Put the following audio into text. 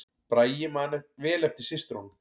Bragi man vel eftir systrunum